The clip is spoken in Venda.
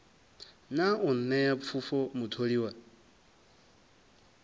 na u nṋea pfufho mutholiwa